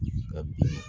Ka bin